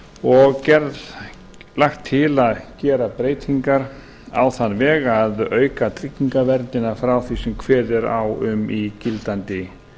og lagt til að gera breytingar á þann veg að auka tryggingaverndina frá því sem kveðið er á um í gildandi